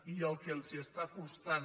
i el que els està costant